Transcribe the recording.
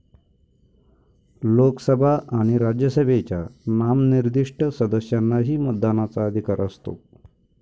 लोकसभा आणि राज्यसभेच्या नामनिर्दिष्ट सदस्यांनाही मतदानाचा अधिकार असतो.